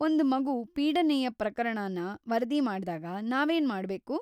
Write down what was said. ಒಂದ್ ಮಗು ಪೀಡನೆಯ ಪ್ರಕರಣನ ವರದಿ ಮಾಡ್ದಾಗ ನಾವೇನ್ ಮಾಡ್ಬೇಕು?